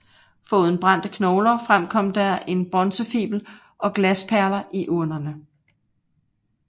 Foruden brændte knogler fremkom der en bronzefibel og glasperler i urnerne